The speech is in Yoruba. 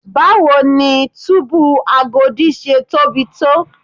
Báwo ni túbú Agodi ṣe tóbi tó?